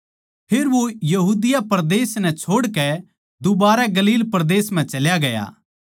फेर वो यहूदिया परदेस नै छोड़कै दुबारै गलील परदेस म्ह चल्या गया